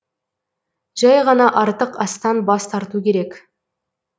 жәй ғана артық астан бас тарту керек